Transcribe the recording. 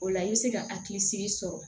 O la i bɛ se ka hakilisigi sɔrɔ